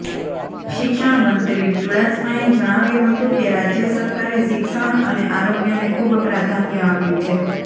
શિક્ષણ મંત્રી ચુડાસમાએ જણાવ્યું હતુ કે રાજય સરકારે શિક્ષણ અને આરોગ્યને ખૂબ પ્રાધાન્ય આપ્યું છે